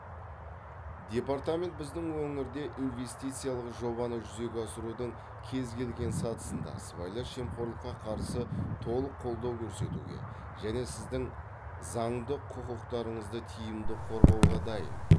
департамент біздің өңірде инвестициялық жобаны жүзеге асырудың кез келген сатысында сыбайлас жемқорлыққа қарсы толық қолдау көрсетуге және сіздің заңды құқықтарыңызды тиімді қорғауға дайын